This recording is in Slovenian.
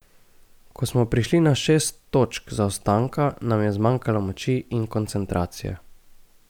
Ko smo prišli na šest točk zaostanka, nam je zmanjkalo moči in koncentracije.